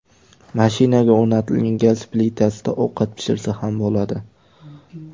Mashinaga o‘rnatilgan gaz plitasida ovqat pishirsa ham bo‘ladi.